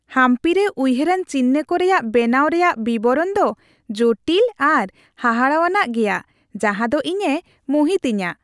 ᱦᱟᱢᱯᱤ ᱨᱮ ᱩᱭᱦᱟᱹᱨᱟᱱ ᱪᱤᱱᱦᱟᱹ ᱠᱚ ᱨᱮᱭᱟᱜ ᱵᱮᱱᱟᱣ ᱨᱮᱭᱟᱜ ᱵᱤᱵᱚᱨᱚᱱ ᱫᱚ ᱡᱚᱴᱤᱞ ᱟᱨ ᱦᱟᱦᱟᱲᱟᱣᱟᱱ ᱜᱮᱭᱟ, ᱡᱟᱦᱟᱸ ᱫᱚ ᱤᱧᱮ ᱢᱩᱦᱤᱛ ᱤᱧᱟᱹ ᱾